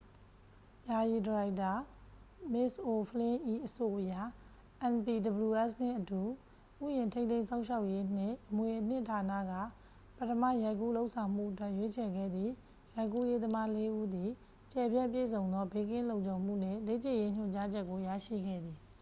ယာယီဒါရိုက်တာ မစ်ခ်အိုဖလင်း၏ အဆိုအရ npws နှင့်အတူ ဥယျာဉ် ထိန်းသိမ်းစောင့်ရှောက်ရေးနှင့် အမွေအနှစ်ဌာနက ပထမရိုက်ကူးလုပ်ဆောင်မှုအတွက် ရွေးချယ်ခဲ့သည့် ရိုက်ကူးရေးသမားလေးဦးသည် ကျယ်ပြန့်ပြည့်စုံသော ဘေးကင်းလုံခြုံမှုနှင့် လေ့ကျင့်ရေးညွှန်ကြားချက်ကို ရရှိခဲ့သည်